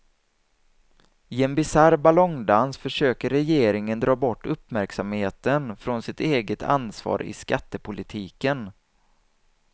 I en bisarr ballongdans försöker regeringen dra bort uppmärksamheten från sitt eget ansvar i skattepolitiken.